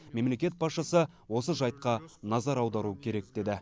мемлекет басшысы осы жайтқа назар аудару керек деді